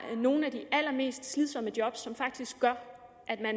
nogle af de allermest slidsomme job som faktisk gør